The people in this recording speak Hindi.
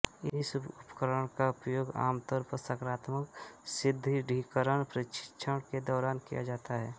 इस उपकरण का उपयोग आमतौर पर सकारात्मक सुदृढीकरण प्रशिक्षण के दौरान किया जाता है